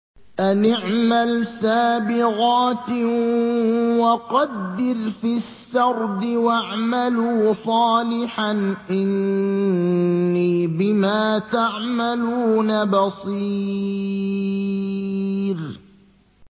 أَنِ اعْمَلْ سَابِغَاتٍ وَقَدِّرْ فِي السَّرْدِ ۖ وَاعْمَلُوا صَالِحًا ۖ إِنِّي بِمَا تَعْمَلُونَ بَصِيرٌ